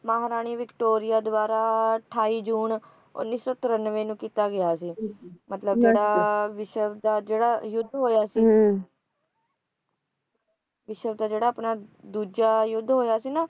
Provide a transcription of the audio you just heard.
ਮਹਾਰਾਣੀ Victoria ਦੁਆਰਾ ਅਠਾਈ ਜੂਨ ਉੱਨੀ ਸੌ ਤਰੰਨਵੇਂ ਨੂੰ ਕੀਤਾ ਗਿਆ ਸੀ ਮਤਲਬ ਸਦਾ ਵਿਸ਼ਵ ਦਾ ਜਿਹੜਾ ਯੁੱਧ ਹੋਇਆ ਸੀ ਵਿਸ਼ਵ ਦਾ ਜਿਹੜਾ ਆਪਣਾ ਦੂਜਾ ਯੁੱਧ ਹੋਇਆ ਸੀ ਨਾ